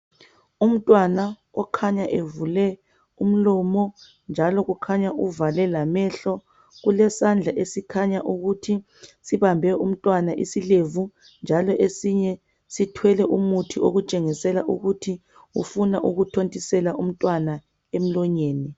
Umtwana okhanya evule umlomo njalo ukhanya uvale lamehlo. Kulesandla esikhanya ukuthi sibambe umntwana isilevu njalo esinye sithwele umuthi okutshengisela ukuthi ufuna ukuthontisela umntwana emlonyeni